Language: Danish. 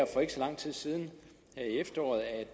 for ikke så lang tid siden her i efteråret at